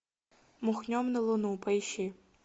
махнем на луну поищи